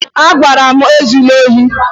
Agwara m gị ezula ohi!